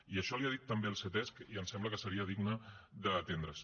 i això li ho ha dit també el ctesc i em sembla que seria digne d’atendre’s